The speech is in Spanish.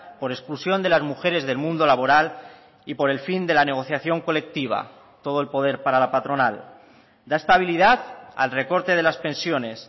por exclusión de las mujeres del mundo laboral y por el fin de la negociación colectiva todo el poder para la patronal da estabilidad al recorte de las pensiones